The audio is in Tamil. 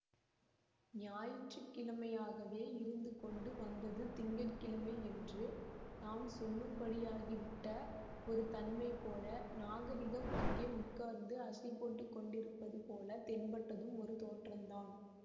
ஞாயிற்றுக்கிழமையாகவே இருந்து கொண்டு வந்தது திங்க கிழமை என்று நாம் சொல்லும்படியாகிவிட்ட ஒரு தன்மை போல நாகரிகம் அங்கே உட்கார்ந்து அசை போட்டு கொண்டிருப்பது போல தென்பட்டதும் ஒரு தோற்றந்தான்